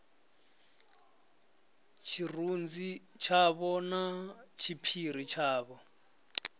tshirunzi tshavho na tshiphiri tshavho